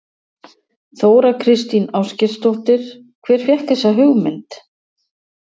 Þóra Kristín Ásgeirsdóttir: Hver fékk þessa hugmynd?